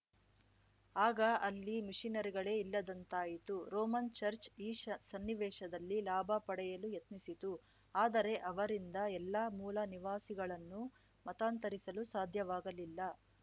ಆಗ ಅಲ್ಲಿ ಮಿಷನರಿಗಳೇ ಇಲ್ಲದಂತಾಯಿತು ರೋಮನ್‌ ಚರ್ಚ್ ಈ ಸನ್ನಿವೇಶದಲ್ಲಿ ಲಾಭ ಪಡೆಯಲು ಯತ್ನಿಸಿತು ಆದರೆ ಅವರಿಂದ ಎಲ್ಲ ಮೂಲ ನಿವಾಸಿಗಳನ್ನು ಮತಾಂತರಿಸಲು ಸಾಧ್ಯವಾಗಲಿಲ್ಲ